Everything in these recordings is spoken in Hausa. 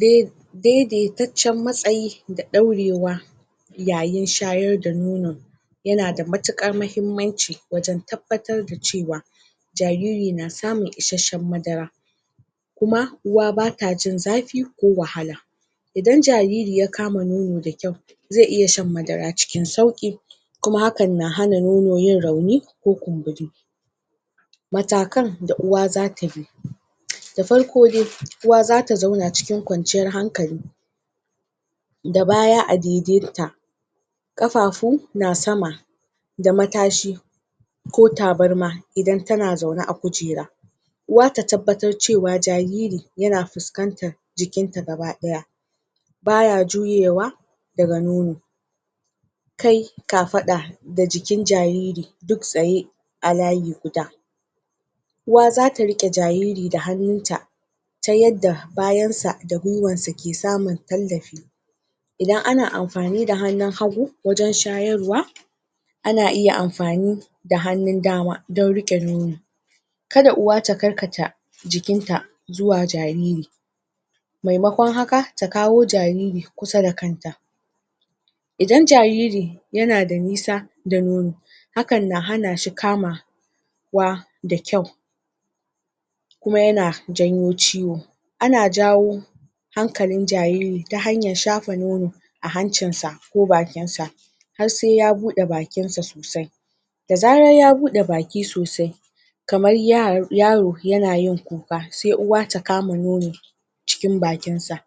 dai, daitaccen matsayi da daurewa yayin shayar da nono yana da matukar mahimmanci wajan tabbatar da cewa jariri na samun isashen madara kuma uwa bata jin zafi ko wahala idan jariri ya kama nono da kyau zai iya shan madara cikin sauki kuma hakan na hana nono yin rauni ko kumburi matakan da uwa za tabi da farko dai uwa za ta zauna cikin kwanciyar hankali da baya a daidain ta kafafu na sama da matashi ko tabarma idan tana zaune a kujera uwa ta tabbatar cewa jariri yana fuskantar jikinta gaba daya baya juyewa daga nono kai, kafada da jikin jariri duk tsaye a layi guda uwa za ta rike jariri da hannunta ta yadda bayansa da gwaiwansa ke samun tallafi idan ana amfani da hannun hagu wajan shayarwa ana iya amfani da hannun dama dan rike nono kada uwa ta karkata jikinta zuwa jariri mai makon haka ta kawo jariri kusa da kanta idan jariri yana da nisa da nono hakan na hanashi kama kamawa da kyau uma yana janyo ciwo ana jawo hankalin jariri ta hanyar shafa nono a hancinsa ko bakinsa har sai ya budai bakinsa sosai da zarar ya budei bakinsa sosai kamar yaro yana yin kuka sai uwa ta kama nono cikin bakinsa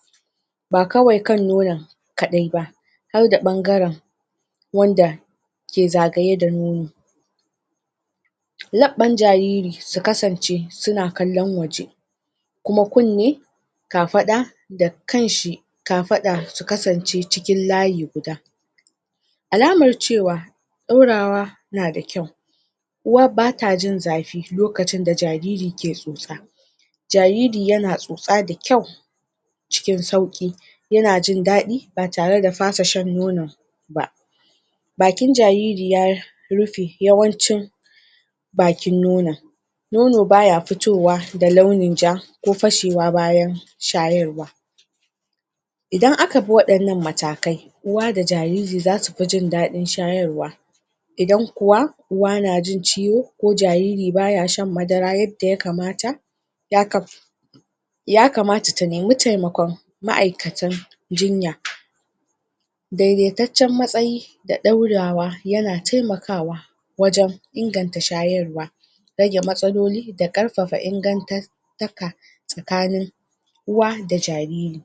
ba kawai kan nonon kadai ba harda bangaran wanda ke zagaye da nono labban jariri su kasance suna kallan waje kuma munne kafada da kanshi ka fada su kasance cikin layi guda alamar cewa dorawa na da kyau uwa bata jin zafi lokacin da jariri ka tsotsa jariri yana tsotsa da kyau cikin sauki yana jin dadi ba tare da fasa nonon ba bakin jariri ya rufe yawancin bakin nonon nono baya fitowa da launin ja ko fashewa bayan shayarwa idan aka bi wadannan matakai uwa da jariri za su fi jin dadin shayarwa idan kuwa uwa na jin ciwo ko jariri baya a shan madara yadda ya kamata yaka ya kamata ta nemi temakon ma'aykatan jinya dai-dai taccan matsayi, da daurwa yana temakawa wajan inganta shayarwa rage matsaoloi da karfafa inganta ingantaka uwa da jariri